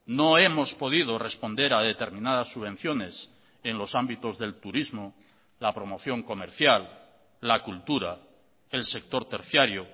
no hemos podido responder a determinadas subvenciones en los ámbitos del turismo la promoción comercial la cultura el sector terciario